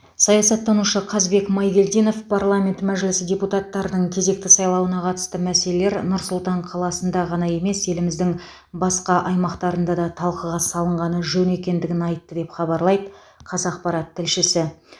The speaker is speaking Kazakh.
саясаттанушы қазбек майгелдинов парламент мәжілісі депутаттарының кезекті сайлауына қатысты мәселелер нұр сұлтан қаласында ғана емес еліміздің басқа аймақтарында да талқыға салынғаны жөн екендігін айтты деп хабарлайды қазақпарат тілшісі